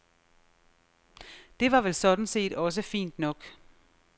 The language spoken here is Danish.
Det var vel sådan set også fint nok.